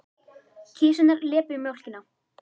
Kisurnar lepja mjólkina.